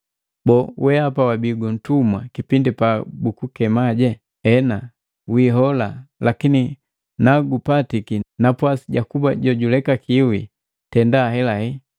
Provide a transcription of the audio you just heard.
Boo, weapa wabii gu ntumwa kipindi pa bukukema? Hena, wihola, lakini nagupatiki napwasi jakuba jojulekakiwi, tenda helahela.